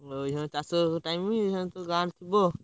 ଅଇଛା ଚାଷ ଫାଶ time ଅଇଛାତ, ଗାଁରେ ଥିବ ଆଉ।